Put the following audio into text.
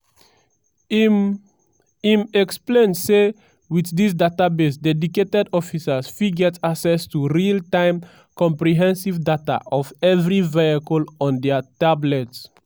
im im explain say wit dis database dedicated officers fit get access to real-time comprehensive data of evri vehicle on dia tablets.